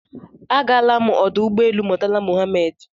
Agaala m ọdụ ụgbọelu Murtala Muhammed